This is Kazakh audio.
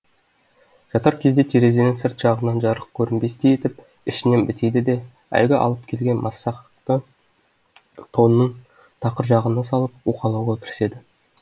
жатар кезде терезенің сырт жағынан жарық көрінбестей етіп ішінен бітейді де әлгі алып келген масақты тонның тақыр жағына салып уқалауға кіріседі